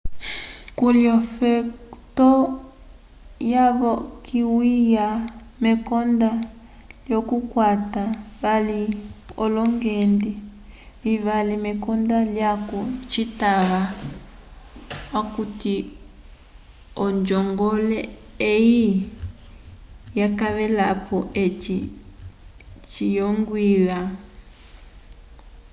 kuli ofeto yavokiyiwa mekonda lyokukwata vali olongende vivali mekonda lyaco citava okuti onjongole eyi ikavelapo eci ciyongwiwa